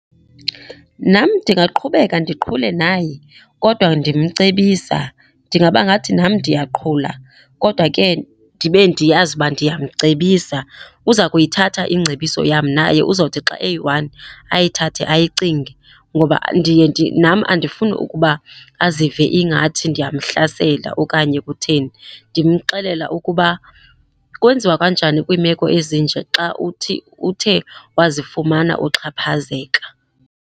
Nam ndingaqhubeka ndiqhule naye, kodwa ndimcebisa. Ndingaba ngathi nam ndiyaqhula kodwa ke ndibe ndiyazi uba ndiyamcebisa. Uza kuyithatha ingcebiso yam naye, uzawuthi xa eyi-one ayithathe ayicinge ngoba ndiye nam andifuni ukuba azive ingathi ndiyamhlasela okanye kutheni. Ndimxelela ukuba kwenziwa kanjani kwiimeko ezinje xa uthi uthe wazifumana uxhaphazeka.